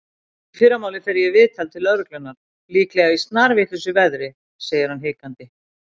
Í fyrramálið fer ég í viðtal til lögreglunnar- líklega í snarvitlausu veðri, segir hann hikandi.